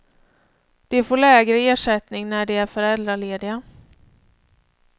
De får lägre ersättning när de är föräldralediga.